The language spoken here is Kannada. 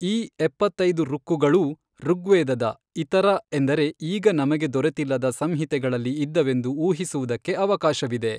ಈ ಎಪ್ಪತ್ತೈದು ಋಕ್ಕುಗಳೂ, ಋಗ್ವೇದದ ಇತರ ಎಂದರೆ ಈಗ ನಮಗೆ ದೊರೆತಿಲ್ಲದ ಸಂಹಿತೆಗಳಲ್ಲಿ ಇದ್ದವೆಂದು ಊಹಿಸುವುದಕ್ಕೆ ಅವಕಾಶವಿದೆ.